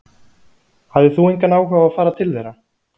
Hafðir þú engan áhuga á að fara til þeirra?